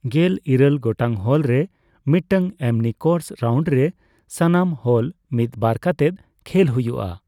ᱜᱮᱞ ᱤᱨᱟᱹᱞ ᱜᱚᱴᱟᱝ ᱦᱳᱞ ᱨᱮ ᱢᱤᱫᱴᱟᱝ ᱮᱢᱱᱤ ᱠᱳᱨᱥ ᱨᱟᱣᱩᱱᱰ ᱨᱮ ᱥᱟᱱᱟᱢ ᱦᱳᱞ ᱢᱤᱫᱵᱟᱨ ᱠᱟᱛᱮᱜ ᱠᱷᱮᱞ ᱦᱩᱭᱩᱜᱼᱟ ᱾